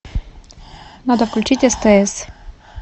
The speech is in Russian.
надо включить стс